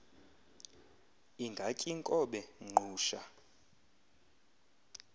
ingaty iinkobe ngqusha